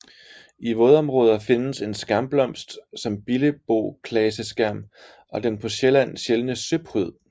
I vådområder findes en skærmblomst som billeboklaseskærm og den på Sjælland sjældne søpryd